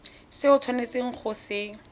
se o tshwanetseng go se